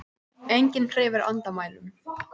Enginn hreyfir andmælum.